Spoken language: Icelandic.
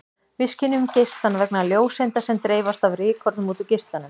Við skynjum geislann vegna ljóseinda sem dreifast af rykkornum út úr geislanum.